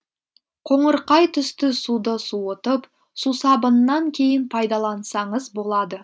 қоңырқай түсті суды суытып сусабыннан кейін пайдалансаңыз болады